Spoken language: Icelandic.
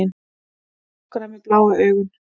Stúlkuna með bláu augun.